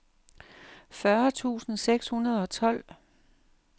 fyrre tusind seks hundrede og tolv